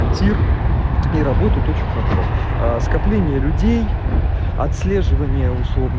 тир и работаю фарфор скопление людей отслеживание